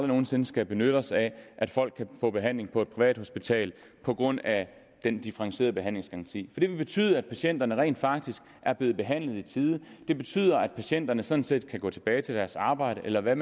nogen sinde skal benytte os af at folk kan få behandling på et privathospital på grund af den differentierede behandlingsgaranti for det vil betyde at patienterne rent faktisk er blevet behandlet i tide det betyder at patienterne sådan set kan gå tilbage til deres arbejde eller hvad